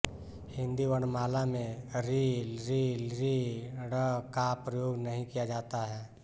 हिन्दी वर्णमाला में ॠ ऌ ॡ ळ का प्रयोग नहीं किया जाता है